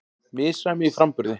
Misræmi í framburði